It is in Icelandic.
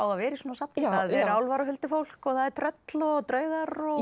að vera í svona safni það eru álfar og huldufólk tröll og draugar og